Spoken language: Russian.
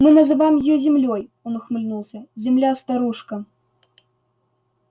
мы называем её землёй он ухмыльнулся земля-старушка